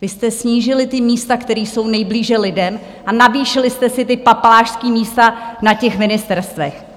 Vy jste snížili ta místa, která jsou nejblíže lidem, a navýšili jste si ta papalášská místa na těch ministerstvech!